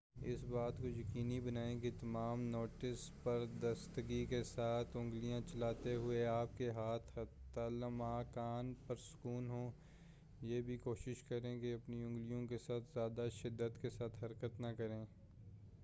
اس بات کو یقینی بنائیں کہ تمام نوٹس پر درستگی کے ساتھ اُنگلیاں چلاتے ہوئے آپ کے ہاتھ حتی الامکان پرسکون ہوں یہ بھی کوشش کریں کہ اپنی اُنگلیوں کے ساتھ زیادہ شدت کے ساتھ حرکت نہ کریں